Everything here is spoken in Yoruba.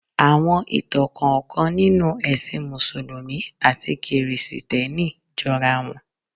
Àwọn ìtàn kọ̀ọ̀kan nínú ẹ̀sìn mùsùlùmí àti kìrìsìtẹ́nì jọra wọn.